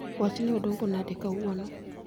wach ne odongo nade kawuono